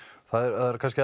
það er kannski